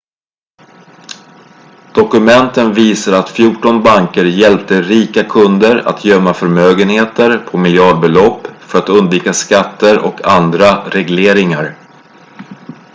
dokumenten visar att fjorton banker hjälpte rika kunder att gömma förmögenehter på miljardbelopp för att undvika skatter och andra regleringar